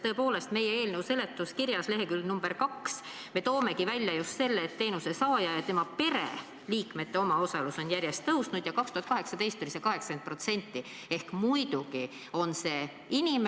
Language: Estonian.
Tõepoolest, me oma eelnõu seletuskirjas leheküljel nr 2 toomegi välja just selle, et teenuse saaja ja tema pereliikmete omaosalus on järjest tõusnud, 2018. aastal oli see 80%.